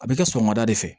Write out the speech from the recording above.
A bɛ kɛ sɔgɔmada de fɛ